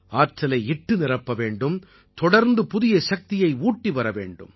ஆற்றலை இட்டு நிரப்ப வேண்டும் தொடர்ந்து புதிய சக்தியை ஊட்டி வர வேண்டும்